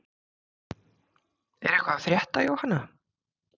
Er eitthvað að frétta Jóhanna?